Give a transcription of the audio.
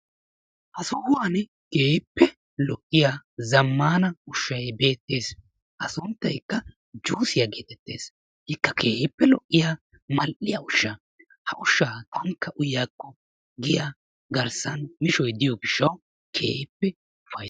ha sohuwaan keehippe lo''iyaa zammana ushshay beettees. A sunttaykka juussiyaa getettees. I keehippe mal''ees. ha ushsha onikka uyyiyaako giya garssan mishshoy diyo gishshaw keehippe ufaytta